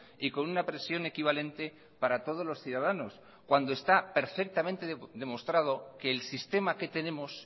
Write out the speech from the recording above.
y con una presión equivalente para todos los ciudadanos cuando está perfectamente demostrado que el sistema que tenemos